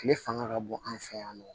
Tile fanga ka bon an fɛ yan nɔ